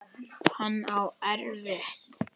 Hann á erfitt.